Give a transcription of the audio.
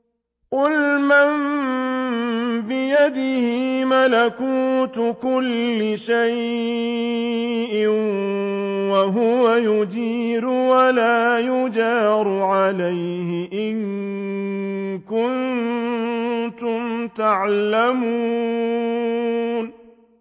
قُلْ مَن بِيَدِهِ مَلَكُوتُ كُلِّ شَيْءٍ وَهُوَ يُجِيرُ وَلَا يُجَارُ عَلَيْهِ إِن كُنتُمْ تَعْلَمُونَ